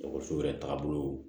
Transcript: Dɔgɔtɔrɔso yɛrɛ taaga bolo